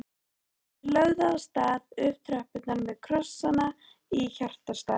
Þeir lögðu af stað upp tröppurnar með krossana í hjartastað.